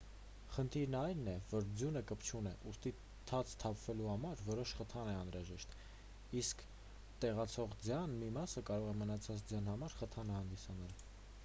խնդիրն այն է որ ձյունը կպչուն է ուստի ցած թափվելու համար որոշ խթան է անհրաժեշտ իսկ տեղացող ձյան մի մասը կարող է մնացած ձյան համար խթան հանդիսանալ